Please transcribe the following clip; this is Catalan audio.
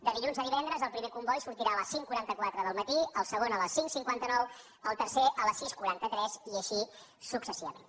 de dilluns a divendres el primer comboi sortirà a les cinc cents i quaranta quatre del matí el segon a les cinc cents i cinquanta nou el tercer a les sis cents i quaranta tres i així successivament